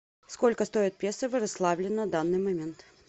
сколько стоит песо в ярославле на данный момент